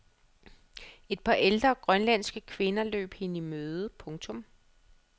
Et par ældre grønlandske kvinder løb hende i møde. punktum